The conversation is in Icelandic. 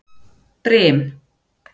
Brim